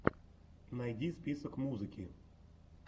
найди список музыки